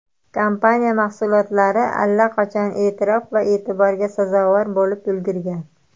Kompaniya mahsulotlari allaqachon e’tirof va e’tiborga sazovor bo‘lib ulgurgan.